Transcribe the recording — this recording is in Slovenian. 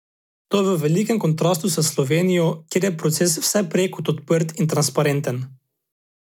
To je v velikem kontrastu s Slovenijo, kjer je proces vse prej kot odprt in transparenten.